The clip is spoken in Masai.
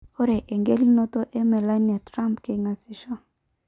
'Ore engelunoto e Melania Trump keingaseisho.